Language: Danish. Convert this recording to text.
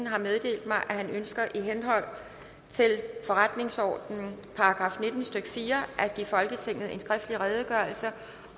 har meddelt mig at han ønsker i henhold til forretningsordenens § nitten stykke fire at give folketinget en skriftlig redegørelse